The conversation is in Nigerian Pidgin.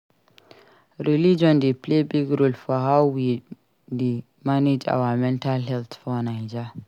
Religion dey play big role for how we dey manage our mental health for Naija.